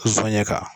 Zonɲɛ kan